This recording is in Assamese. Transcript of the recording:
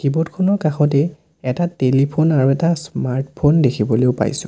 কীবৰ্ড খনৰ কাষতেই এটা টেলিফোন আৰু এটা স্মাৰ্ট ফোন দেখিবলৈও পাইছোঁ।